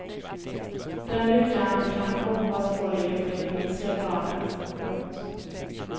Den lycka han kan hoppas på ligger på det himmelska planet. punkt